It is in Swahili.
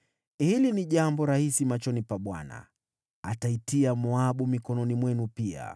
Hili ni jambo rahisi machoni pa Bwana . Pia ataitia Moabu mikononi mwenu.